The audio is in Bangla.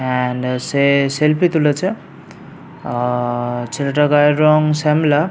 এন্ড সে সেলফি তুলেছে। আ-আ ছেলেটার গায়ের রং শ্যামলা।